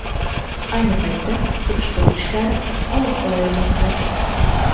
Ayni paytda surishtiruv ishlari olib borilmoqda.